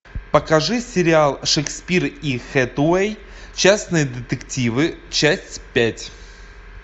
покажи сериал шекспир и хэтэуэй частные детективы часть пять